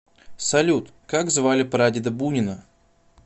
салют как звали прадеда бунина